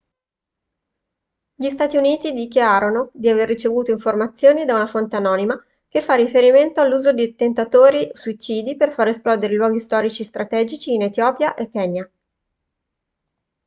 gli stati uniti dichiarano di aver ricevuto informazioni da una fonte anonima che fa riferimento all'uso di attentatori suicidi per far esplodere i luoghi storici strategici in etiopia e kenya